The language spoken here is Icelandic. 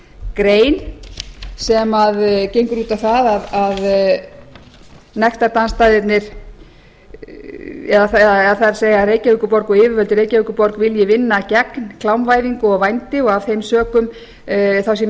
grein sem gengur út á það að nektardansstaðirnir eða það er að reykjavíkurborg og yfirvöld í reykjavíkurborg vilji vinna gegn klámvæðingu og vændi og af þeim sökum sé mikilvægt